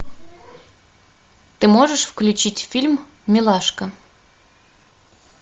ты можешь включить фильм милашка